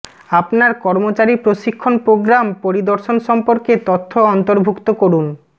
আপনার কর্মচারী প্রশিক্ষণ প্রোগ্রাম পরিদর্শন সম্পর্কে তথ্য অন্তর্ভুক্ত করুন